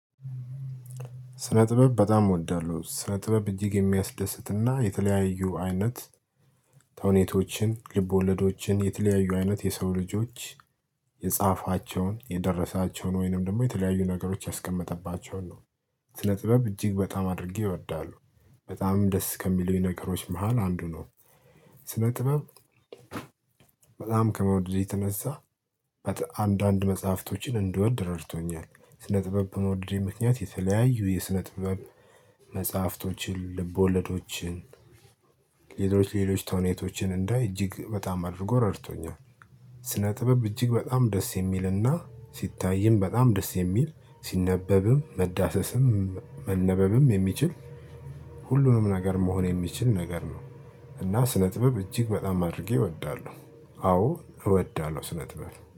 ስነ ጥበብ በጣም እወዳለሁ ስነ ጥበብ እጅግ የሚያስደስትና የተለያዩ አይነት ተውኔቶችን ልቦለዶችን የተለያዩ አይነት የሰው ልጆች የጻፋቸውን የደረሳቸውን ወይንም ደግሞ የተለያዩ ነገሮች ያስቀመጠባቸውን ስለ ጥበብ እጅግ በጣም አድርጌ እወዳለሁ። በጣምም ደስ ከሚሉኝ ነገሮች መሃል አንዱ ነው። ስነ ጥበብ በጣም ከመውደድ የተነሳ አንዳንድ መጽሐፍቶችን እንድወድ ረድቶኛል። ስነ ጥበብ በመውደዴ ምክንያት የተለያዩ የስነ ጥበብ መጽሐፍቶችን ልቦለዶችን ሌሎች ሌሎች ተውኔቶችን እንዳይ እጅግ በጣም አድርጎ ረድቶኛል። ስነ ጥበብ እጅግ በጣም ደስ የሚልና ሲታይም በጣም ደስ የሚል ሲነበብም መዳሰስም መነበብም የሚችል ሁሉንም ነገር መሆን የሚችል ነገር ነው። እና ስነ ጥበብ እጅግ በጣም አድርጌ እወዳለሁ አዎ እወዳለሁ። ስነ ጥበብ